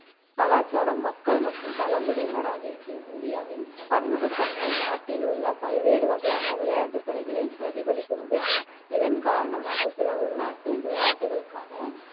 கலாச்சாரம், மக்கள் மற்றும் பழங்குடியினர் ஆகியவற்றில் இந்தியாவின் பன்முகத்தன்மை, நாட்டில் உள்ள பல்வேறு வகையான விளையாட்டுத் துறைகளில் பிரதிபலிக்கிறது. இதன் காரணமாக, சில உள்நாட்டு விளையாட்டுகளுக்கான